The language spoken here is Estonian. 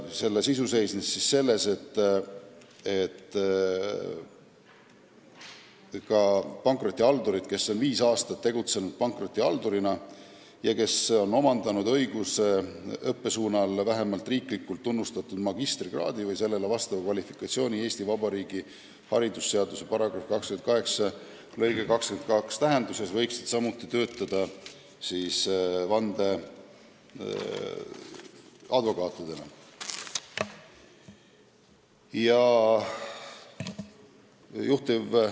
Selle sisu seisnes selles, et ka pankrotihaldurid, kes on viis aastat tegutsenud pankrotihaldurina ja on omandanud õiguse õppesuunal vähemalt riiklikult tunnustatud magistrikraadi või sellele vastava kvalifikatsiooni Eesti Vabariigi haridusseaduse § 28 lõike 22 tähenduses, võiksid töötada vandeadvokaatidena.